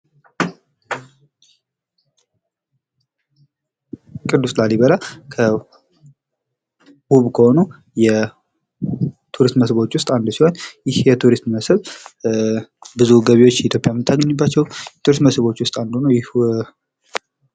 ቅዱስ ላሊበላ ውብ ከሆኑ የቱሪስት መስህቦች ውስጥ አንዱ ሲሆን ይህ የቱሪስት ኢትዮጵያ ብዙ ገቢዎችንባቸው ኢትዮጵያውያ ምታገኝባቸው የቱሪስት መስህቦች ውስጥ አንዱ ነው